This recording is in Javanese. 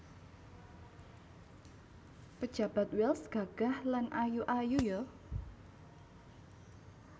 Pejabat Wells gagah lan ayu ayu yo